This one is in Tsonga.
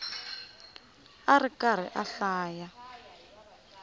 a ri karhi a hlaya